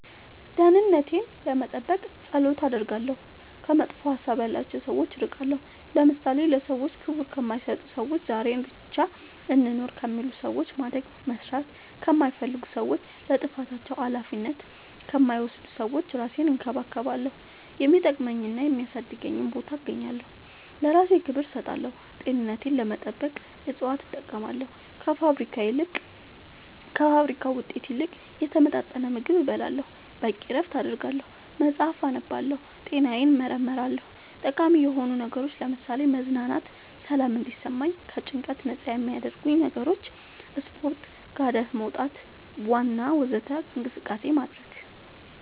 ደህንነቴን ለመጠበቅ ፀሎት አደርጋለሁ ከመጥፎ ሀሳብ ያላቸው ሰዎች እርቃለሁ ለምሳሌ ለሰዎች ክብር ከማይሰጡ ሰዎች ዛሬን ብቻ እንኑር ከሚሉ ሰዎች ማደግ መስራት ከማይፈልጉ ሰዎች ለጥፋታቸው አላፊነት ከማይወስዱ ሰዎች እራሴን እንከባከባለሁ የሚጠቅመኝና የሚያሳድገኝ ቦታ እገኛለሁ ለእራሴ ክብር እሰጣለሁ ጤንነቴን ለመጠበቅ እፅዋት እጠቀማለሁ ከፋብሪካ ውጤት ይልቅ የተመጣጠነ ምግብ እበላለሁ በቂ እረፍት አደርጋለሁ መፅአፍ አነባለሁ ጤናዬን እመረመራለሁ ጠቃሚ የሆኑ ነገሮች ለምሳሌ መዝናናት ሰላም እንዲሰማኝ ከጭንቀት ነፃ የሚያረጉኝ ነገሮች ስፓርት ጋደት መውጣት ዋና ወዘተ እንቅስቃሴ ማድረግ